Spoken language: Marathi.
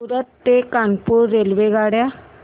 सूरत ते कानपुर रेल्वेगाड्या